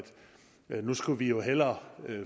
nu skulle vi jo hellere